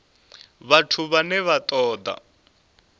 vhathu vhane vha ṱo ḓa